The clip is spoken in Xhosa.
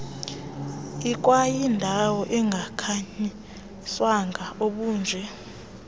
ikwayindawo engakhanyiswanga obunje